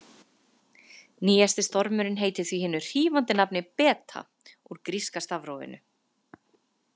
Nýjasti stormurinn heitir því hinu hrífandi nafni Beta úr gríska stafrófinu.